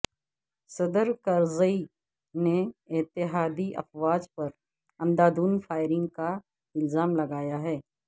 صدر کرزئی نے اتحادی افواج پر اندھادھند فائرنگ کا الزام لگایا ہے